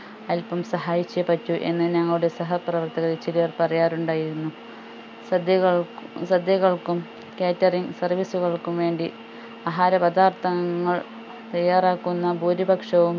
അൽപ്പം സഹായിച്ചേ പറ്റൂ എന്ന് ഞങ്ങളുടെ സഹപ്രവർത്തകരിൽ ചിലർ പറയാറുണ്ടായിരുന്നു സദ്യകൾകും സദ്യകൾക്കും catering service കൾക്കും വേണ്ടി ആഹാരപദാർത്ഥങ്ങൾ തയ്യാറാക്കുന്ന ഭൂരിപക്ഷവും